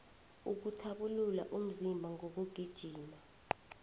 ukuthabulula umzimba ngokugijima